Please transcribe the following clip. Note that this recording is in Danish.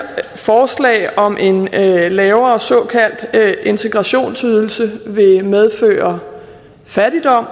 her forslag om en lavere lavere såkaldt integrationsydelse vil medføre fattigdom